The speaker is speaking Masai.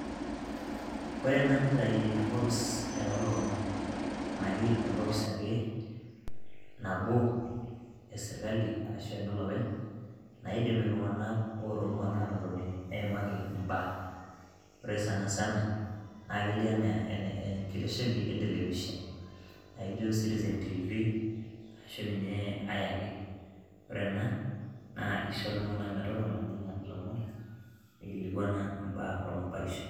wore ena nitai enkopis olomon enake enkopis ake nabo esirkali ashu enolopeny naidim iltung'anak ora ong'uan atotoni neimaki imbaa ore sanasana naa kelio anaa enkitesheni entelepishen naijo citizen tv ashu ninye ae ake ore ena naa isho iltung'anak metotona nenya ilomon nikilikuana imbaa ormabarishoi.